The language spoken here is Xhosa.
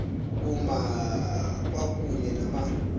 kuma kwakunye nama